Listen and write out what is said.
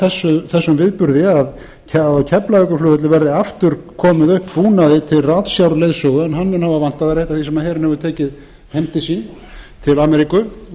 af þessum viðburði að á keflavíkurflugvelli verði aftur komið upp búnaði til ratsjárleiðsögu en hann mun hafa vantað er eitt af því sem herinn hefur tekið heim til sín til ameríku